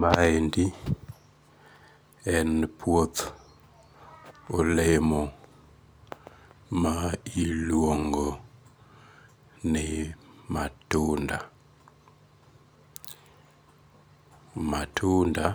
Maendi en puoth olemo ma iluongo ni matunda, matunda